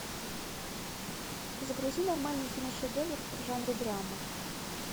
загрузи нормальный кино шедевр в жанре драма